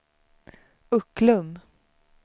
Ucklum